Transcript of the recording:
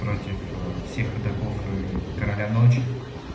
против всех игроков и короля ночи